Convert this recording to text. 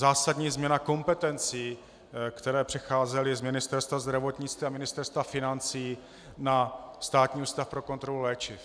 Zásadní změna kompetencí, které přecházely z Ministerstva zdravotnictví a Ministerstva financí na Státní ústav pro kontrolu léčiv.